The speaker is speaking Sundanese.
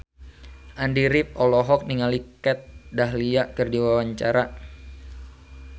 Andy rif olohok ningali Kat Dahlia keur diwawancara